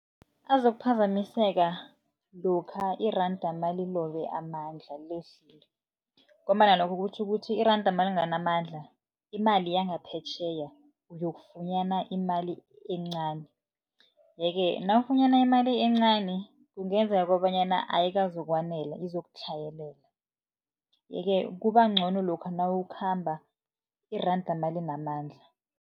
Azokuphazamiseka lokha iranda nalilobe amandla lehlile, ngombana lokho kutjho ukuthi iranda nalinganamandla imali yangaphetjheya uyokufunyana imali encani. Ye-ke nawufunyana imali encani kungenzeka kobanyana ayikwazokwanela, izokutlhayelela. Ye-ke kuba ncono lokha nawukhamba iranda nalinamandla.